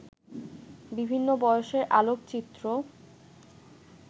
বিভিন্ন বয়সের আলোকচিত্র